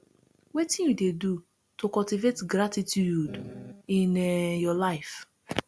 wetin you dey do to cultivate gratituude in um your life